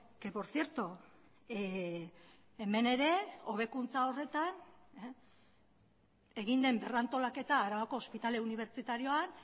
que por cierto hemen ere hobekuntza horretan egin den berrantolaketa arabako ospitale unibertsitarioan